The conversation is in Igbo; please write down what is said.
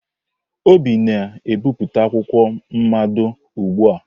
Obi na-ebipụta akwụkwọ mmado ugbu a?